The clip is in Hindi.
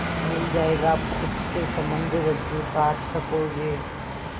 मिल जाएगा पोत से संबद्ध रज्जु काट सकोगे